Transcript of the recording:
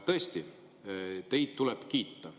Tõesti, teid tuleb kiita.